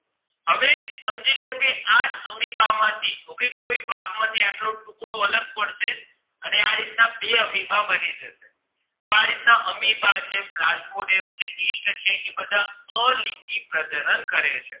આજ amoeba માંથીહવે કોઈ ભાગ માંથી આટલો ટુકડો અલગ પડશે અને આ રીત ના બે amoeba બની જશે તો આ રીત ના amoeba છે plasmodium છે yeast છે એ બધા અલિંગી પ્રજનન કરે છે